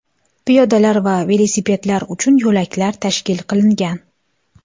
Piyodalar va velosipedlar uchun yo‘laklar tashkil qilingan.